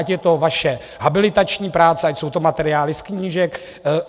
Ať je to vaše habilitační práce, ať jsou to materiály z knížek.